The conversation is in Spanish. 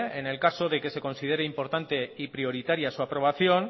en el caso de que se considere importante y prioritaria su aprobación